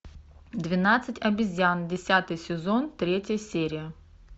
двенадцать обезьян десятый сезон третья серия